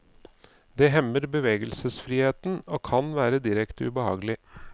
Det hemmer bevegelsesfriheten, og kan være direkte ubehagelig.